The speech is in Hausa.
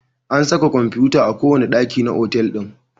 An saka kwamfuta a kowane ɗaki na otal ɗin.